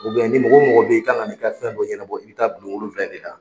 ni mɔgɔ mɔgɔ be yen i kan ka na i ka fɛn dɔ ɲɛnabɔ i be taa bulon wolonvila in de la.